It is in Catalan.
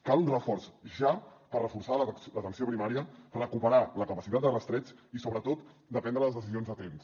cal un reforç ja per reforçar l’atenció primària recuperar la capacitat de rastreig i sobretot de prendre les decisions a temps